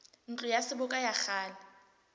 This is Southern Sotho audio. ntlo ya seboka ya kgale